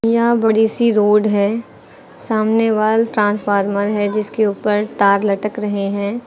यहां बड़ी सी रोड है सामने वाल ट्रांसफार्मर है जिसके ऊपर तार लटक रहे हैं।